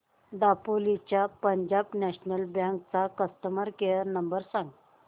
दापोली च्या Punjab National Bank चा customer care number सांग